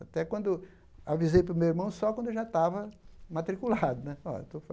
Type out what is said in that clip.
Até quando avisei para o meu irmão só quando eu já estava matriculado né. Olha estou